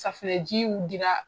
Safunɛ jiw dira